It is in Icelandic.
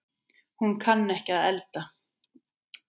Hún kann ekki að elda.